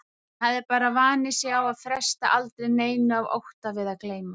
Hún hafði bara vanið sig á að fresta aldrei neinu af ótta við að gleyma.